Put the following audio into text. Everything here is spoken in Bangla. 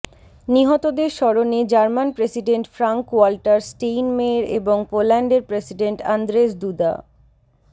নিহতদের স্মরণে German president Frank Walter Steinmeier এবং পোল্যান্ডের প্রেসিডেন্ট আন্দ্রেজ দুদা